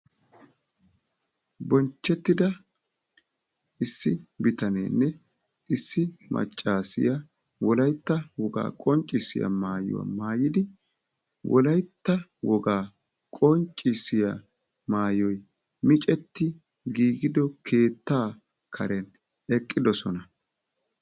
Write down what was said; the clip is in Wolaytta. Bonchchetida issi bitanenne issi maccassiya Wolaytta woga qonccissiya maayuwa maayyidi Wolaytta woga qonccissiya maayoy micceti giigido keetta karen eqqidoosona.